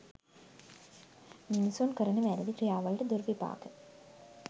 මිනිසුන් කරන වැරැදි ක්‍රියාවලට දුර්විපාක